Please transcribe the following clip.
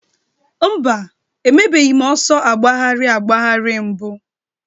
Mba, emebeghị m ọsọ agbagharị agbagharị mbụ